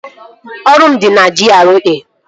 Ọrụ m dị na GRA